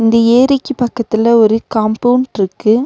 இந்த ஏரிக்கு பக்கத்துல ஒரு காம்பவுண்ட்ருக்கு .